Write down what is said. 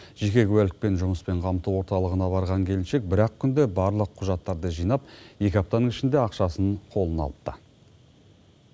жеке куәлікпен жұмыспен қамту орталығына барған келіншек бір ақ күнде барлық құжаттарды жинап екі аптаның ішінде ақшасын қолына алыпты